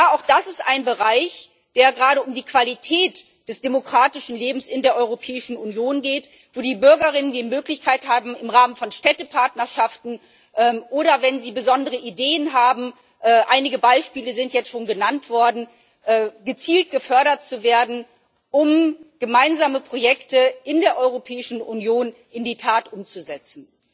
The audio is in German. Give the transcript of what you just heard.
Auch das ist ein Bereich, bei dem es gerade um die Qualität des demokratischen Lebens in der Europäischen Union geht, wo die Bürgerinnen und Bürger die Möglichkeit haben, im Rahmen von Städtepartnerschaften oder wenn sie besondere Ideen haben einige Beispiele sind jetzt schon genannt worden gezielt gefördert zu werden, um gemeinsame Projekte in der Europäischen Union in die Tat umzusetzen.